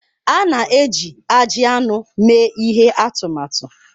A na-eji ajị anụ mee ihe atụmatụ.